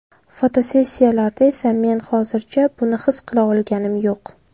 Fotosessiyalarda esa men hozircha buni his qila olganim yo‘q”.